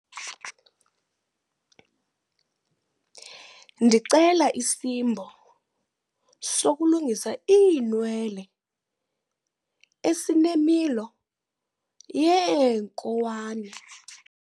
Ndicela isimbo sokulungisa iinwele esinemilo yeenkowane.